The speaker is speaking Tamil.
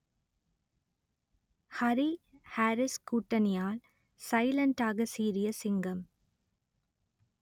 ஹரி ஹாரிஸ் கூட்டணியால் சைலண்டாக சீறிய சிங்கம்